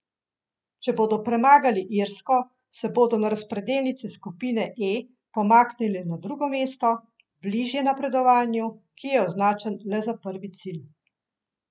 Če bodo premagali Irsko, se bodo na razpredelnici skupine E pomaknili na drugo mesto, bližje napredovanju, ki je označen le za prvi cilj.